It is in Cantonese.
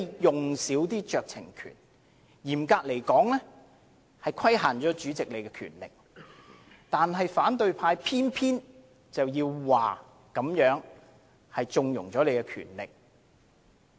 嚴格來說，是規限主席的權力，但反對派偏要說成是令主席擁有更大權力。